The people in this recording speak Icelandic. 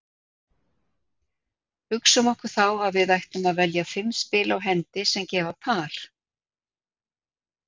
Hugsum okkur þá að við ætlum að velja fimm spil á hendi sem gefa par.